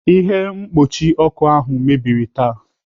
Ihe mkpuchi ọkụ ahụ mebiri taa.